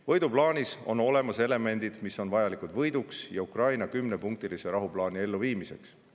Võiduplaanis on olemas elemendid, mis on vajalikud võiduks ja Ukraina kümnepunktilise rahuplaani elluviimiseks.